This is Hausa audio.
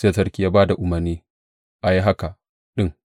Sai sarki ya ba da umarni a yi haka ɗin.